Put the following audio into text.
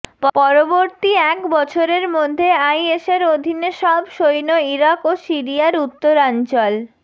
পরবর্তী এক বছরের মধ্যে আইএসের অধীনে সব সৈন্য ইরাক ও সিরিয়ার উত্তরাঞ্চল